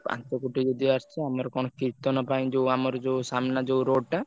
ପାଞ୍ଚକୋଟି ଯଦି ଆସିଛି ଆମର କଣ କୀର୍ତ୍ତନ ପାଇଁ ଯୋଉ ଆମର ଯୋଉ ସାମ୍ନା ଯୋଉ road ଟା।